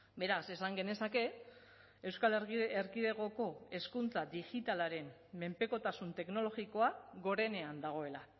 beraz esan genezake euskal erkidegoko hezkuntza digitalaren menpekotasun teknologikoa gorenean dagoela